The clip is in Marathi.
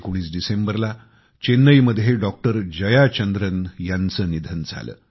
19 डिसेंबरला चेन्नईमध्ये डॉक्टर जयाचंद्रन याचं निधन झालं